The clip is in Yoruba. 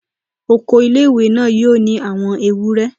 Oko ilé-ìwé náà yóò ní àwọn ewúre